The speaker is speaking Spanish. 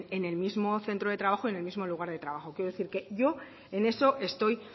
en el mismo centro de trabajo y en el mismo lugar de trabajo quiero decir que yo en eso estoy